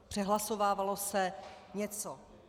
Přehlasovávalo se něco.